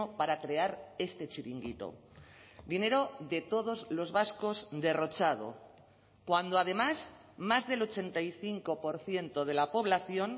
para crear este chiringuito dinero de todos los vascos derrochado cuando además más del ochenta y cinco por ciento de la población